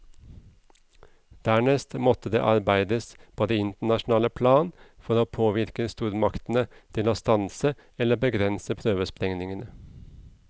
Dernest måtte det arbeides på det internasjonale plan for å påvirke stormaktene til å stanse eller begrense prøvesprengningene.